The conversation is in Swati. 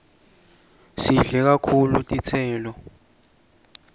sidle kakhulu titselo